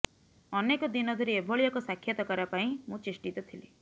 ଅନେକ ଦିନ ଧରି ଏଭଳି ଏକ ସାକ୍ଷାତକାର ପାଇଁ ମୁଁ ଚେଷ୍ଟିତ ଥିଲି